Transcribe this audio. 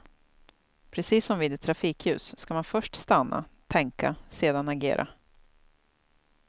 Precis som vid ett trafikljus ska man först stanna, tänka sedan agera.